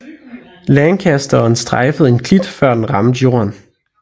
Lancasteren strejfede en klit før den ramte jorden